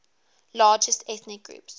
largest ethnic groups